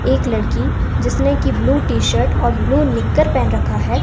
एक लड़की जिसने की ब्लू टी शर्ट और ब्लू निक्कर पेहन रखा है।